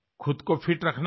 खुद को फिट रखना है